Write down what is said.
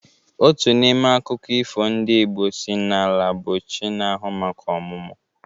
Otu n'ime akụkọ ifo ndị Igbo si n'Ala bụ chi na-ahụ maka ọmụmụ.